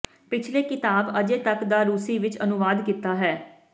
ਪਿਛਲੇ ਕਿਤਾਬ ਅਜੇ ਤੱਕ ਦਾ ਰੂਸੀ ਵਿਚ ਅਨੁਵਾਦ ਕੀਤਾ ਹੈ